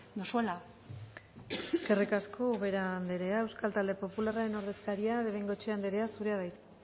duzuela eskerrik asko ubera anderea euskal talde popularraren ordezkaria de bengoechea andrea zurea da hitza